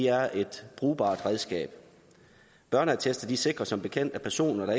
er et brugbart redskab børneattester sikrer som bekendt at personer